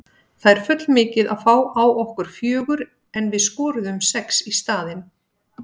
Það er full mikið að fá á okkur fjögur en við skoruðum sex í staðinn.